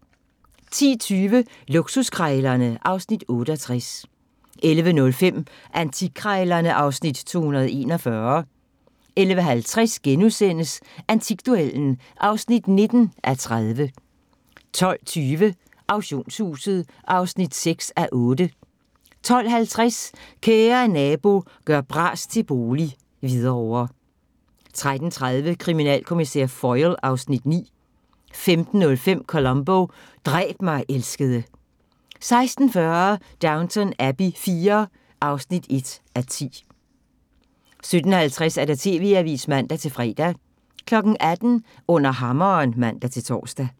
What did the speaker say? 10:20: Luksuskrejlerne (Afs. 68) 11:05: Antikkrejlerne (Afs. 241) 11:50: Antikduellen (19:30)* 12:20: Auktionshuset (6:8) 12:50: Kære Nabo – gør bras til bolig - Hvidovre 13:30: Kriminalkommissær Foyle (Afs. 9) 15:05: Columbo: Dræb mig, elskede 16:40: Downton Abbey IV (1:10) 17:50: TV-avisen (man-fre) 18:00: Under hammeren (man-tor)